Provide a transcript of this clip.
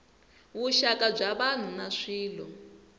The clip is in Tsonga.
vuxaka bya vanhu na swilo